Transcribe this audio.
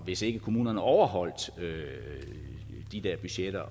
hvis ikke kommunerne overholdt de der budgetter